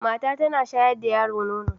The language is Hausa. Mata ta ta na sharya da yaro nono